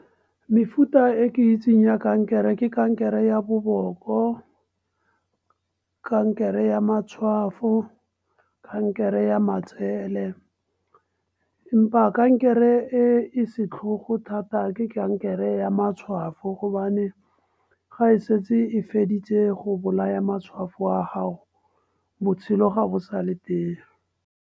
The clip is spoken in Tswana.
Mefuta e ke itseng ya kankere ke kankere ya boboko, kankere ya matshwafo, kankere ya matsele. Empa kankere e e setlhogo thata ke kankere ya matshwafo gobane ga e setse e feditse go bolaya matshwafo a gago, botshelo ga bo sa le teng.